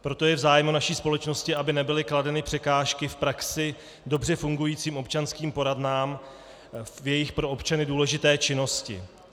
Proto je v zájmu naší společnosti, aby nebyly kladeny překážky v praxi dobře fungujícím občanským poradnám v jejich pro občany důležité činnosti.